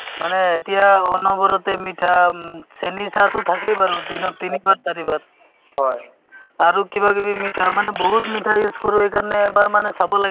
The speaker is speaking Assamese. এটা হেৰি আছে তোমাৰ saas বাঁহ beta সন্মিলন তাত মানে ধৰা শাহু বোৱাৰী কেনেকে অ তে pregnant woman যেনেকে ধৰা কি কৰিব লাগে কেনেকে থাকিব লাগে কি খাব লাগে ?